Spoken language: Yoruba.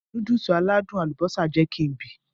Núdùùsì aládùn àlùbósà jẹ kí n bì.